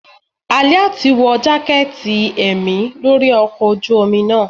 Aliat wọ jaketí emí lori ọkọ ojú omí naa